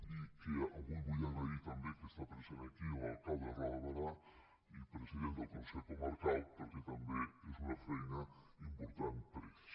i que avui vull agrair també que està present aquí l’alcalde de roda de berà i president del consell comarcal perquè tam·bé és una feina important per a ells